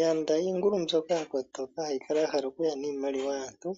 Yanda iingulu mbyoka yakotoka ha yi kala yahala oku ya niimaliwa yaantu